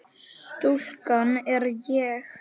Stúlkan er ég.